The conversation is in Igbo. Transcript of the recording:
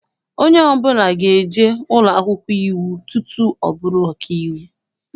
Onye ọbụla ga-eje ụlọakwụkwọ iwu tutu ọ bụrụ ọkaiwu.